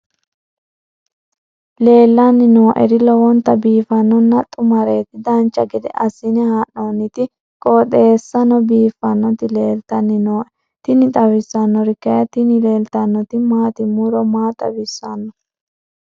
leellanni nooeri lowonta biiffinonna xumareeti dancha gede assine haa'noonniti qooxeessano biiffinoti leeltanni nooe tini xawissannori kayi tini leeltannoti maati muro maa xawissanno